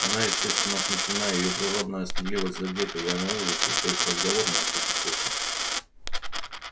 она естественно смущена её природная стыдливость задета и она в ужасе что их разговор может быть услышан